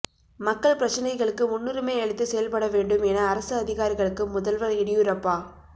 மக்கள் பிரச்னைகளுக்கு முன்னுரிமை அளித்து செயல்பட வேண்டும் என அரசு அதிகாரிகளுக்கு முதல்வர் எடியூரப்பா